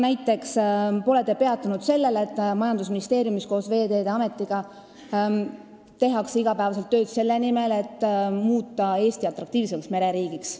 Näiteks pole te peatunud sellel, et majandusministeeriumis ja Veeteede Ametis tehakse iga päev tööd selle nimel, et muuta Eesti atraktiivsemaks mereriigiks.